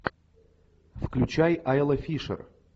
включай айла фишер